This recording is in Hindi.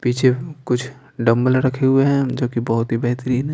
पीछे कुछ डंबल रखे हुए हैं जो कि बहुत ही बेहतरीन हैं।